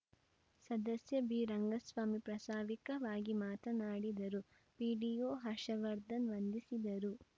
ಸದಸ್ಯ ಬಿರಂಗಸ್ವಾಮಿ ಪ್ರಾಸಾವಿಕವಾಗಿ ಮಾತನಾಡಿದರು ಪಿಡಿಒ ಹರ್ಷವರ್ಧನ್‌ ವಂದಿಸಿದರು